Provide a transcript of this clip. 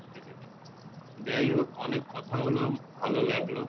যায় হোক অনেক কথা হল ভালো লাগলো